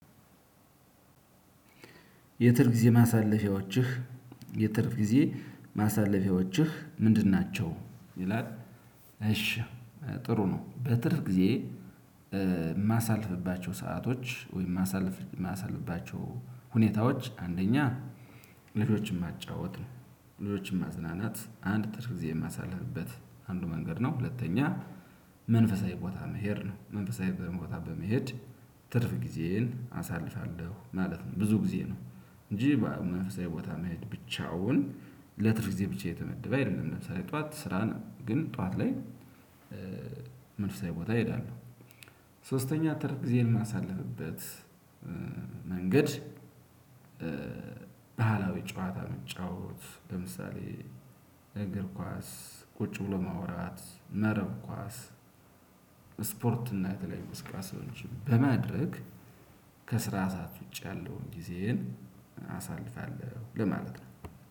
የትርፍ ጊዜ ማሳለፊያዎችህ የትርፍ ጊዜ ማሳለፊያዎችህ ምንድን ናቸው ይላል? እሺ ጥሩ ነው በትርፍ ጊዜ። ማሳልፍባቸው ሰአቶች ወይም ማሳለፍ ማሳልፍባቸው ሁኔታዎች አንደኛ ልጆችን ማጫወት ነው። ልጆችን ማዝናናት አንድ ትርፍ ጊዜ የማሳልፍበት አንዱ መንገድ ነው። ሁለተኛ መንፈሳዊ ቦታ መሄድ ነው መንፈሳዊ ቦታ በመሄድ ትርፍ ጊዜን አሳልፋለሁ ማለት ነው። ብዙ ጊዜ ነው እንጂ መንፈሳዊ ቦታ መሄድ ብቻውን ለትርፍ ጊዜ ብቻ የተመደበ አይደለም። ለምሳሌ ጠዋት ስራ ነው ግን ጠዋት ላይ መንፈሳዊ ቦታ እሄዳለሁ። ሶስተኛ ትርፍ ግዜን ማሳለፍበት መንገድ። ባህላዊ ጨዋታ በመጫወት ለምሳሌ እግር ኳስ ቁጭ ብሎ ማውራት መረብ ኳስ ስፖርት እና የተለያዩ እንቅስቃሴዎችን በማድረግ ከስራ ሰዓት ውጭ ያለውን ጊዜን አሳልፋለሁ ለማለት ነው።